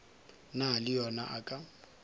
na le yo a ka